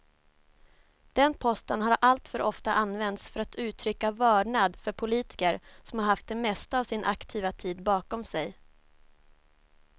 Den posten har alltför ofta använts för att uttrycka vördnad för politiker som haft det mesta av sin aktiva tid bakom sig.